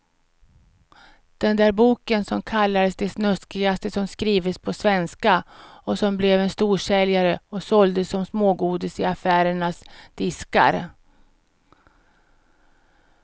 Den där boken som kallades det snuskigaste som skrivits på svenska och som blev en storsäljare och såldes som smågodis i affärernas diskar.